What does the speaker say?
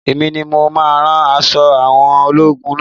Èmi ni mo máa rán àwọn aṣọ ológun naa